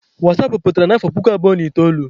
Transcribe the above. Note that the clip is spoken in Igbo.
wasapụ pụtara n'afọ puku abụọ na itoolu.